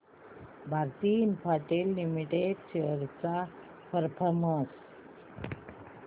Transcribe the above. Bharti Infratel limited shares चा performance